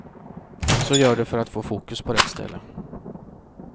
Så gör du för att få fokus på rätt ställe.